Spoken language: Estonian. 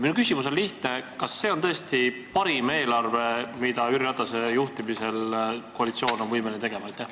Minu küsimus on lihtne: kas see on tõesti parim eelarve, mida koalitsioon on võimeline Jüri Ratase juhtimisel tegema?